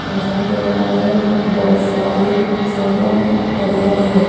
ऐसा लगा रहा है कि बहुत सारी जगह में हरियाली है।